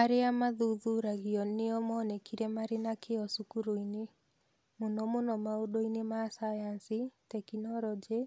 Arĩa maathuthuragio nĩo monekire marĩ na kĩyo cukuru-inĩ. Mũno mũno maũndũ-inĩ ma sayansi, tekinolonjĩ,